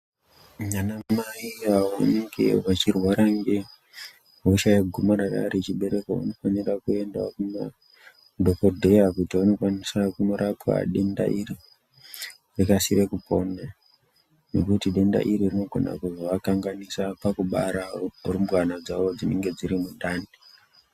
Anamai vanenge vechirwara ngehosha yegomarara rechibereko vanofanira kuendawo kumadhokodheya kuti vandokwanisa kurapwe denda iri vakasire kupona ngekuti denda iri rinokwanisa kuzoakanganisa kubara hurumbwana dzavo dzinonga dziri mundani.